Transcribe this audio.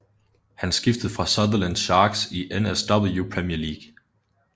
Han skiftede fra Sutherland Sharks i NSW Premier League